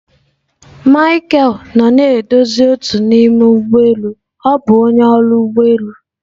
Micheal nọ na-edozi otu n'ime ụgbọ elu ọ bụ onye ọrụ ụgbọ elu.